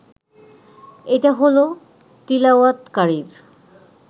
এটা হলো তিলাওয়াতকারীর